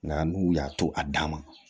Nka n'u y'a to a dan ma